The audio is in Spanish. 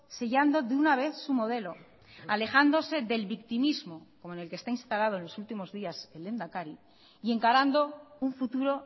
sellando de una vez su modelo alejándose del victimismo como en el que está instalado en los últimos días el lehendakari y encarando un futuro